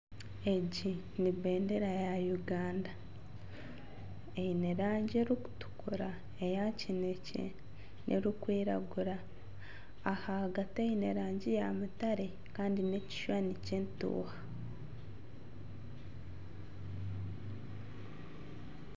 Egi nibendera ya Ugand eine rangi erikutukura eya kinekye, erikwiragura, ahagati eine rangi ya mutare Kandi nekishushani ky'entuuha.